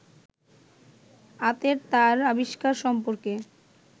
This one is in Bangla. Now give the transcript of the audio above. আতের তার আবিষ্কার সম্পর্কে